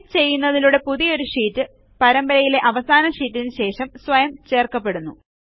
click ചെയ്യുന്നതിലൂടെ പുതിയൊരു sheet പരമ്പരയിലെ അവസാന ഷീറ്റിനു ശേഷം സ്വയം ചേർക്കപ്പെടുന്നു